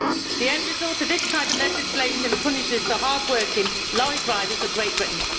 The end result of this type of legislation punishes the hard working lorry drivers of Great Britain.